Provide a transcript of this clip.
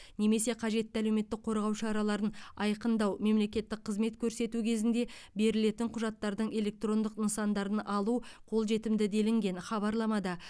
немесе қажетті әлеуметтік қорғау шараларын айқындау мемлекеттік қызмет көрсету кезінде берілетін құжаттардың электрондық нысандарын алу қолжетімді делінген хабарламада